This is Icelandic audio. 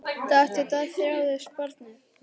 Dag eftir dag þjáðist barnið.